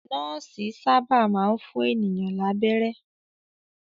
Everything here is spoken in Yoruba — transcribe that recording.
Nọ́ọ́sì sábà máa ń fún ènìyàn lábẹ́rẹ́.